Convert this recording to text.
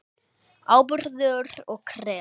Áburður og krem